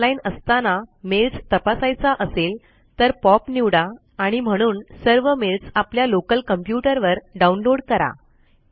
offline असताना mails तपासायचा असेल तरPOP निवडा आणि म्हणून सर्व मेल्स आपल्या लोकल कम्प्युटर वर डाउनलोड करा